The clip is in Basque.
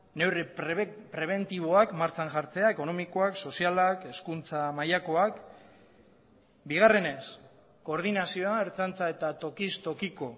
neurri prebentiboak martxan jartzea ekonomikoak sozialak hezkuntza mailakoak bigarrenez koordinazioa ertzaintza eta tokiz tokiko